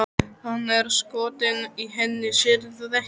Hann er skotinn í henni, sérðu það ekki?